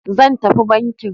Zan tafi banki.